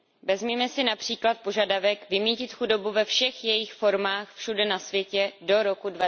Vezměme si například požadavek vymýtit chudobu ve všech jejích formách všude na světě do roku